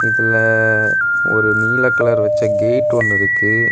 இதுல ஒரு நீல கலர் வச்ச கேட் ஒன்னு இருக்கு.